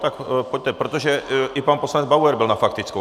Tak pojďte, protože i pan poslanec Bauer byl na faktickou.